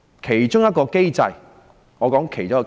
其中一個機制是民主選舉。